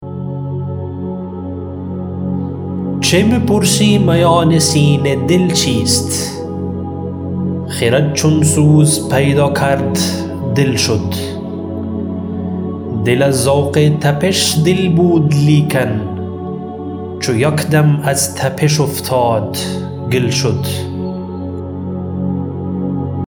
چه میپرسی میان سینه دل چیست خرد چون سوز پیدا کرد دل شد دل از ذوق تپش دل بود لیکن چو یک دم از تپش افتاد گل شد